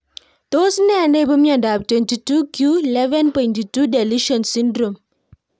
Tos nee neipu miondop 22q11.2 deletion syndrome?